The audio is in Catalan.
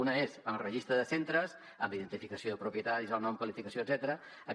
una és el registre de centres amb identificació de propietaris el nom qualificació etcètera